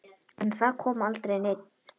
En það kom aldrei neinn.